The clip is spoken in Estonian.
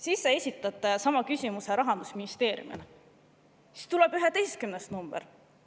Siis sa esitad sama küsimuse Rahandusministeeriumile ja tuleb 11. number.